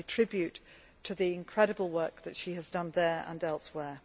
I pay tribute to the incredible work that she has done there and elsewhere.